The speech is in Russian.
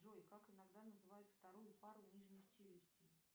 джой как иногда называют вторую пару нижних челюстей